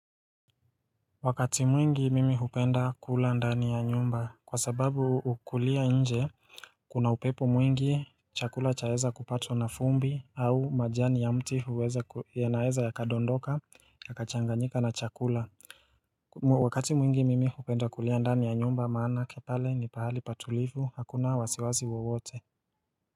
Wakati mwingi mimi hukenda kula ndani ya nyumba kwa sababu kukulia nje kuna upepo mwingi chakula chaeza kupatwa na vumbi au majani ya mti huweza yanaeza yakadondoka ya kachanganyika na chakula Wakati mwingi mimi hupenda kulia ndani ya nyumba maanake pale ni pahali patulivu hakuna wasiwazi wowote.